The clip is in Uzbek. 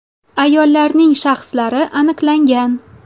Ayollarning shaxslari aniqlangan.